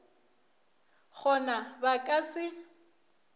go na ba ka se